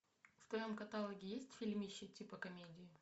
в твоем каталоге есть фильмище типа комедии